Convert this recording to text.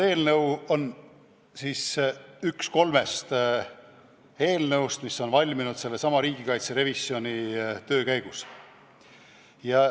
See eelnõu on üks kolmest eelnõust, mis on valminud sellesama riigikaitse revisjoni töö käigus.